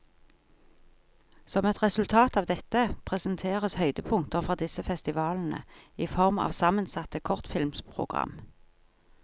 Som et resultat av dette, presenteres høydepunkter fra disse festivalene i form av sammensatte kortfilmprogram.